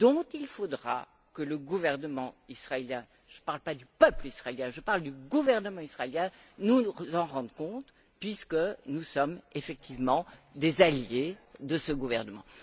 Il faudra donc que le gouvernement israélien je ne parle pas du peuple israélien mais du gouvernement israélien nous en rende compte puisque nous sommes effectivement des alliés de ce gouvernement.